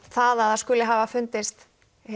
það að það hafi fundist